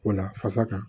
O la fasa kan